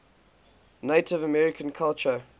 native american culture